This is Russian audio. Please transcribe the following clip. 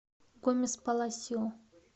гомес паласио